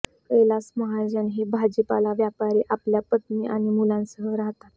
कैलास महाजन हे भाजीपाला व्यापारी आपल्या पत्नी आणि मुलांसह राहतात